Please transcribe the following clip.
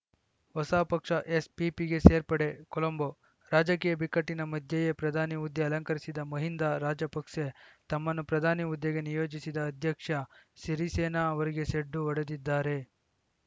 ಹೊಸ ಪಕ್ಷ ಎಸ್‌ಪಿಪಿಗೆ ಸೇರ್ಪಡೆ ಕೊಲಂಬೋ ರಾಜಕೀಯ ಬಿಕ್ಕಟ್ಟಿನ ಮಧ್ಯೆಯೇ ಪ್ರಧಾನಿ ಹುದ್ದೆ ಅಲಂಕರಿಸಿದ್ದ ಮಹಿಂದ ರಾಜಪಕ್ಸೆ ತಮ್ಮನ್ನು ಪ್ರಧಾನಿ ಹುದ್ದೆಗೆ ನಿಯೋಜಿಸಿದ ಅಧ್ಯಕ್ಷ ಸಿರಿಸೇನಾ ಅವರಿಗೇ ಸೆಡ್ಡು ಹೊಡೆದಿದ್ದಾರೆ